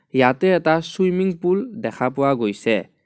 ইয়াতে এটা swimming pool দেখা পোৱা গৈছে.